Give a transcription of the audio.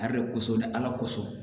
Ali dɛ kosɔn ni ala kosɔn